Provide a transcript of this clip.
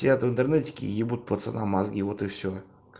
театр интернетики ебут пацанам мозги вот и всё